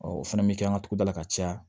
Ɔ o fɛnɛ bi kɛ an ka togodala ka caya